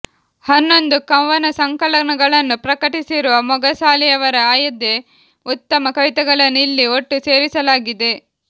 ಹನ್ನೊಂದು ಕವನಸಂಕಲನಗಳನ್ನು ಪ್ರಕಟಿಸಿರುವ ಮೊಗಸಾಲೆಯವರ ಆಯ್ದೆ ಉತ್ತಮ ಕವಿತೆಗಳನ್ನು ಇಲ್ಲಿ ಒಟ್ಟು ಸೇರಿಸಲಾಗಿದೆ